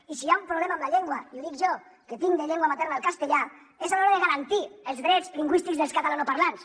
i si hi ha un problema amb la llengua i ho dic jo que tinc de llengua materna el castellà és a l’hora de garantir els drets lingüístics dels catalanoparlants